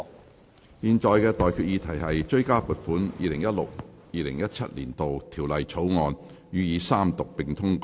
我現在向各位提出的待議議題是：《追加撥款條例草案》予以三讀並通過。